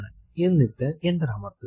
എന്നിട്ട് എന്റർ അമർത്തുക